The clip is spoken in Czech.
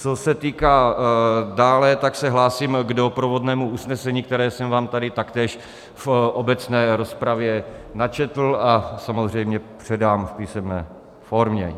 Co se týká dále, tak se hlásím k doprovodnému usnesení, které jsem vám tady taktéž v obecné rozpravě načetl a samozřejmě předám v písemné formě.